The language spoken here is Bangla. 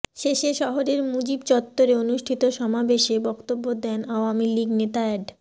শেষে শহরের মুজিব চত্বরে অনুষ্ঠিত সমাবেশে বক্তব্য দেন আওয়ামী লীগ নেতা অ্যাড